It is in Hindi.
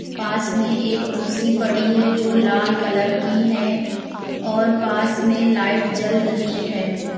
पास में एक कुर्सी पड़ी है जो लाल कलर की है और पास में लाइट जल रही है।